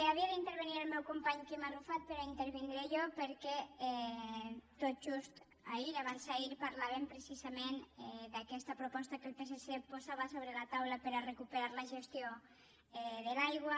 havia d’intervenir el meu company quim arrufat però intervindré jo perquè tot just ahir o abans d’ahir parlàvem precisament d’aquesta proposta que el psc posava sobre la taula per a recuperar la gestió de l’aigua